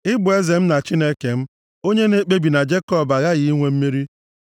Ị bụ eze m na Chineke m, onye na-ekpebi na Jekọb aghaghị inwe mmeri.